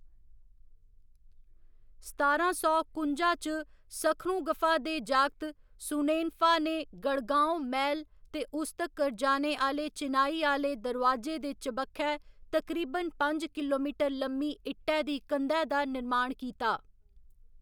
सतारां सौ कुंजा च सुखरुंगफा दे जागत सुनेनफा ने गढ़गांव मैह्‌‌ल ते उस तक्कर जाने आह्‌‌‌ले चिनाई आह्‌‌‌ले दरोआजे दे चबक्खै तकरीबन पंज किलोमीटर लम्मी इट्टै दी कंधै दा निर्माण कीता।